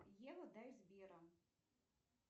ева дай сбера